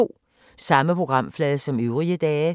Samme programflade som øvrige dage